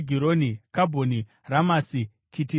Kabhoni, Ramasi, Kitireishi,